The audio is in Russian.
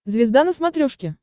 звезда на смотрешке